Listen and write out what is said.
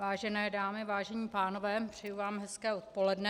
Vážené dámy, vážení pánové, přeji vám hezké odpoledne.